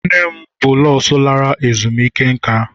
nne m bụ nọọsụ lara ezumike nka.